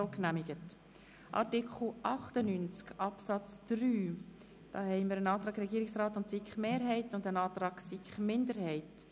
Es gibt einen Antrag Regierungsrat/SiK-Mehrheit und einen Antrag SiK-Minderheit.